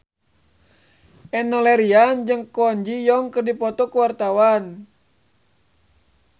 Enno Lerian jeung Kwon Ji Yong keur dipoto ku wartawan